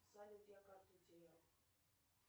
салют я карту потеряла